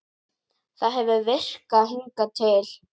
Það hefur virkað hingað til.